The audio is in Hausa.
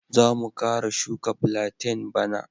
Za mu kara shuka platain bana.